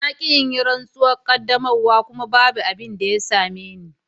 Na ki in yi rantsuwar qaddamarwa kuma babu abin da ya same ni.